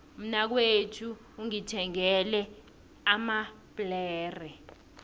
umnakwethu ungithengele amabhlere